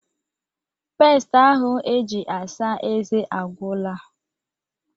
Peest ahụ eji asa ezé agwụla